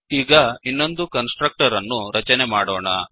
ಈಗ ಇನ್ನೊಂದು constructor ಅನ್ನು ರಚನೆ ಮಾಡೋಣ